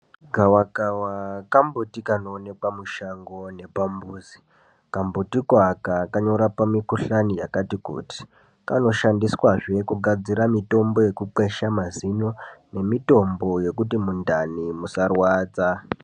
Gavakava kambuti kanoonekwa mushango nepamuzi. Kambutiko aka kanorapa mikuhlani yakati kuti. Kanoshandiswazve kugadzira mitombo yekukwesha mazino nemitombo yokuti mundani musarwadza.